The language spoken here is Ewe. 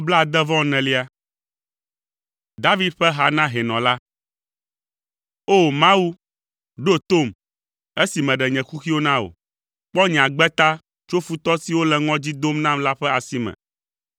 David ƒe ha na hɛnɔ la. O! Mawu, ɖo tom, esi meɖe nye kuxiwo na wò; kpɔ nye agbe ta tso futɔ siwo le ŋɔdzi dom nam la ƒe asi me.